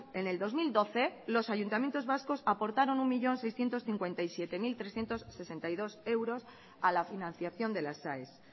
en el dos mil doce los ayuntamientos vascos aportaron un millón seiscientos cincuenta y siete mil trescientos sesenta y dos euros a la financiación de las aes